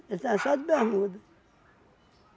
Ele estava só de bermuda.